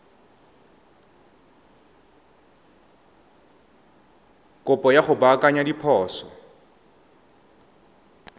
kopo ya go baakanya diphoso